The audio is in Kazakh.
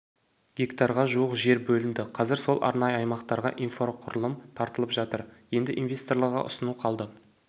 гектарға жуық жер бөлінді қазір сол арнайы аймақтарға инфроқұрылым тартылып жатыр енді инвесторларға ұсыну қалды